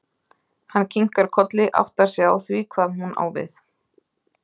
Hann kinkar kolli, áttar sig á því hvað hún á við.